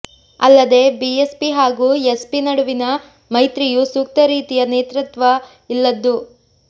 ಅಲ್ಲದೇ B S P ಹಾಗೂ S P ನಡುವಿನ ಮೈತ್ರಿಯು ಸೂಕ್ತ ರೀತಿಯ ನೇತೃತ್ವ ಇಲ್ಲದ್ದು